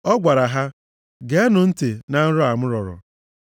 Ọ gwara ha, “Geenụ ntị na nrọ a m rọrọ.